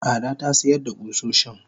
Ada tasiyar da kusoshin.